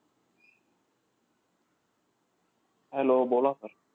Hello बोला sir